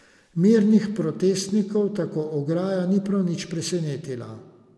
Mirnih protestnikov tako ograja ni prav nič presenetila.